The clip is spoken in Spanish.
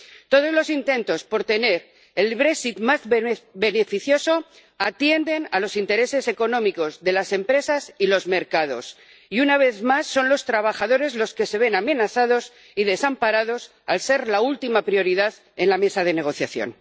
Todos los intentos por tener el brexit más beneficioso atienden a los intereses económicos de las empresas y los mercados y, una vez más, son los trabajadores los que se ven amenazados y desamparados, al ser la última prioridad en la mesa de negociación.